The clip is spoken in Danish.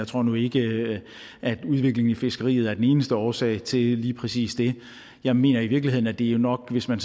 tror nu ikke at udviklingen i fiskeriet er den eneste årsag til lige præcis det jeg mener i virkeligheden at det jo nok hvis man